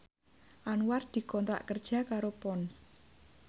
Anwar dikontrak kerja karo Ponds